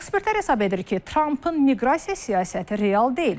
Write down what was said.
Ekspertlər hesab edir ki, Trampın miqrasiya siyasəti real deyil.